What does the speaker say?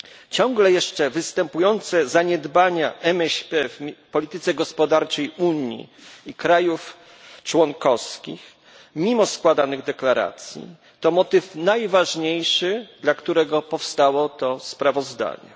Ciągle jeszcze występujące zaniedbanie MŚP w polityce gospodarczej Unii i krajów członkowskich, mimo składanych deklaracji, to motyw najważniejszy, dla którego powstało to sprawozdanie.